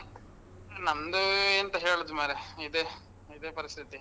ನಮ್ದೂ ಎಂತ ಹೇಳುದ್ ಮಾರ್ರೇ, ಇದೆ ಇದೆ ಪರಿಸ್ಥಿತಿ.